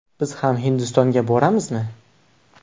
Biz ham Hindistonga boramizmi?